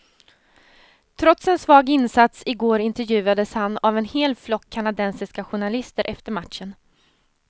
Trots en svag insats i går intervjuades han av en hel flock kanadensiska journalister efter matchen.